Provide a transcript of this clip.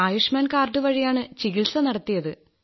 Ayushman card വഴിയാണ് ചികിത്സ നടത്തിയത്